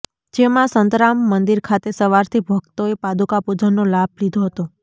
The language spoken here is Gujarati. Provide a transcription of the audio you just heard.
જેમાં સંતરામ મંદિર ખાતે સવારથી ભક્તોએ પાદુકા પૂજનનો લાભ લીધો હતો